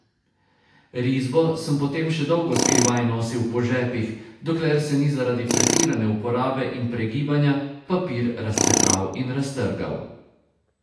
Risbo sem potem še dolgo skrivaj nosil po žepih, dokler se ni zaradi pretirane uporabe in pregibanja papir razcefral in raztrgal.